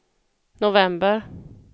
november